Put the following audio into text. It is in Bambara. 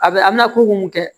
A bɛ a bɛna ko mun kɛ